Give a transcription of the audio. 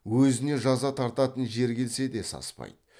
өзіне жаза тартатын жер келсе де саспайды